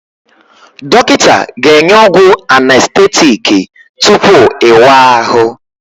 Dọkịta ga-enye ọgwụ anestetiiki tupu ịwa ahụ